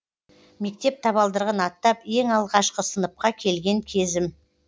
мектеп табалдырығын аттап ең алғашқы сыныпқа келген кезім